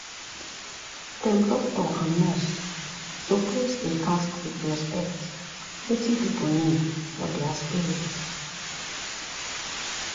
dem doctor and nurse suppose dey ask with respect wetin pipu need for dia spirit.